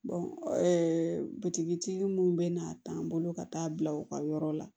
butigi mun be n'a ta an bolo ka taa bila u ka yɔrɔ la